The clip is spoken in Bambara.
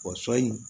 O sɔ in